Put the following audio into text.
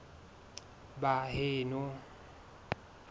baheno